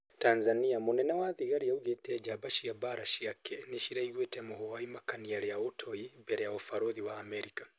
Tanzani:Munene wa thigari augĩte jamba cia mbara ciake nĩciraiguite mũhwa wa imakania ria ũtoi mbere ya ũbarothi wa Amerika